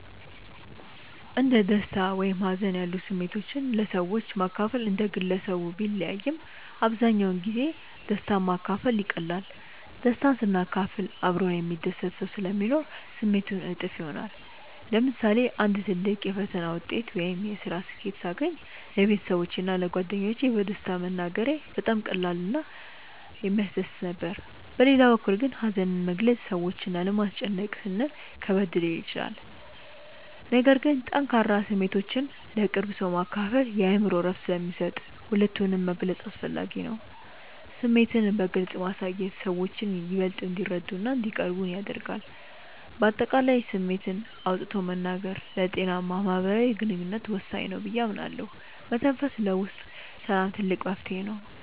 እንደ ደስታ ወይም ሀዘን ያሉ ስሜቶችን ለሰዎች ማካፈል እንደ ግለሰቡ ቢለያይም፣ አብዛኛውን ጊዜ ደስታን ማካፈል ይቀላል። ደስታን ስናካፍል አብሮን የሚደሰት ሰው ስለሚኖር ስሜቱ እጥፍ ይሆናል። ለምሳሌ አንድ ትልቅ የፈተና ውጤት ወይም የስራ ስኬት ሳገኝ ለቤተሰቦቼ እና ለጓደኞቼ በደስታ መናገሬ በጣም ቀላል እና የሚያስደስት ነበር። በሌላ በኩል ግን ሀዘንን መግለጽ ሰዎችን ላለማስጨነቅ ስንል ከበድ ሊል ይችላል። ነገር ግን ጠንካራ ስሜቶችን ለቅርብ ሰው ማካፈል የአእምሮ እረፍት ስለሚሰጥ ሁለቱንም መግለጽ አስፈላጊ ነው። ስሜትን በግልጽ ማሳየት ሰዎችን ይበልጥ እንዲረዱንና እንዲቀርቡን ያደርጋል። በአጠቃላይ ስሜትን አውጥቶ መናገር ለጤናማ ማህበራዊ ግንኙነት ወሳኝ ነው ብዬ አምናለሁ። መተንፈስ ለውስጥ ሰላም ትልቅ መፍትሄ ነው።